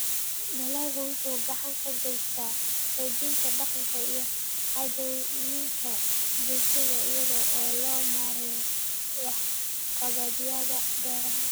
Dalaggu wuxuu gacan ka geystaa xoojinta dhaqanka iyo caadooyinka bulshada iyada oo loo marayo waxqabadyada beeraha.